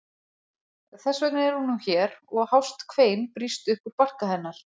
Þess vegna er hún nú hér og hást kvein brýst upp úr barka hennar.